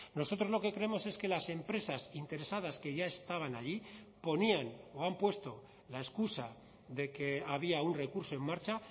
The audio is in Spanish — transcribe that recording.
nosotros lo que creemos es que las empresas interesadas que ya estaban allí ponían o han puesto la excusa de que había un recurso en marcha